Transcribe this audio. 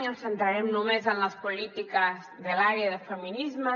ens centrarem només en les polítiques de l’àrea de feminismes